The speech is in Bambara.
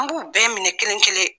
An b'u bɛɛ minɛ kelen kelen.